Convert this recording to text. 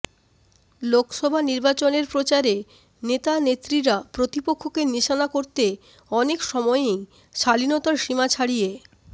লোকসভা নির্বাচনের প্রচারে নেতানেত্রীরা প্রতিপক্ষকে নিশানা করতে অনেক সময়েই শালীনতার সীমা ছাড়িয়ে